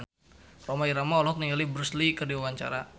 Rhoma Irama olohok ningali Bruce Lee keur diwawancara